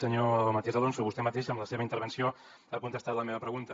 senyor matías alonso vostè mateix amb la seva intervenció ha contestat la meva pregunta